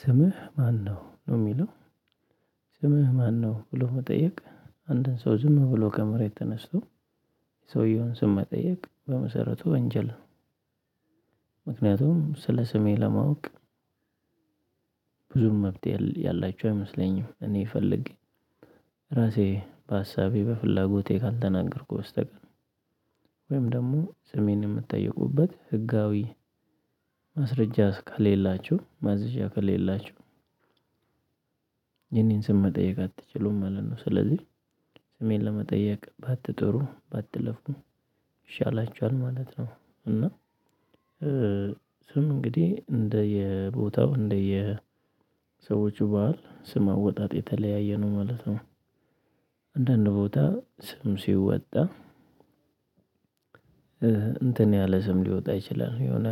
ስምህ ማነው ነው የሚለው? ስምህ ማነው ብሎ መጠየቅ አንድን ሰው ዝም ብሎ ከመሬት ተነስቶ ሰውየውን ስም መጠየቅ በመሰረቱ ወንጀል። ስለ ስሜ ለማወቅ ብዙም መብት ያላቸው አይመስለኝም። እኔ ፈልጌ ራሴ በሀሳቤ በፍላጎቴ ካልተናገርኩ በስተቀር። ወይም ደግሞ ስሜን እምጠየቅበት ህጋዊ ማስረጃ ከሌላችሁ ማዘዣ ከሌላችሁ የኔን ስም መጠየቅ አትችሉም ማለት ነው። ስለዚህ ስሜን ለመጠየቅ ባትጠሩ ባትለፉ ይሻላችኋል ማለት ነው። እና እንግዲህ እንደ የቦታው እንደ የሰዎቹ በዓል ስም አወጣጥ የተለያየ ነው ማለት ነው። አንዳንድ ቦታ ስም ሲወጣ እንትን ያለ ስም ሊወጣ ይችላል። የሆነ